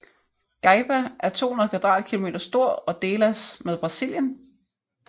Gaiba er 200 kvadratkilometer stor og delas med Brasilien